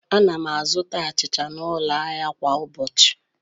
Ana m azụta achịcha n'ụlọ ahịa kwa ụbọchị.